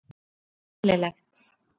Þetta var mjög eðlilegt.